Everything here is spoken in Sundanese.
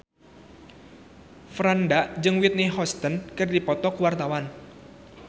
Franda jeung Whitney Houston keur dipoto ku wartawan